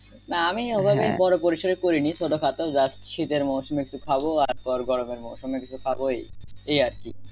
না আমি ঐভাবে বড় পরিসরে করিনি ছোট খাটো যা শীতের মৌসুমে খাবো আর গরমের মৌসুমে কিছু খাবো এই এই আরকি